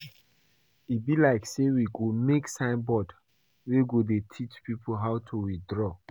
E be like say we go make sign board wey go dey teach people how to withdraw